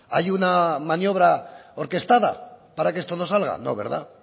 hay una maniobra orquestada para que esto no salga no verdad